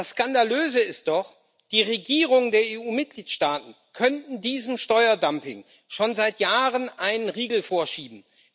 Das Skandalöse ist doch Die Regierungen der EU Mitgliedstaaten könnten diesem Steuerdumping schon seit Jahren einen Riegel vorschieben.